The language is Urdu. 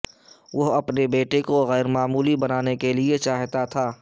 وہ اپنے بیٹے کو غیر معمولی بنانے کے لئے چاہتا تھا